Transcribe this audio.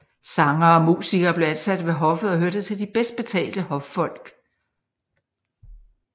Sangere og musikere blev ansat ved hoffet og hørte til de bedst betalte hoffolk